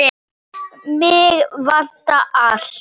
Umferð gegnum túnið ber.